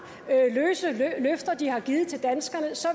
løse løfter de har givet til danskerne så